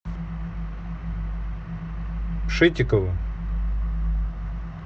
шитиковым